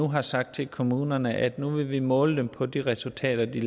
har sagt til kommunerne at vi nu vil vil måle dem på de resultater de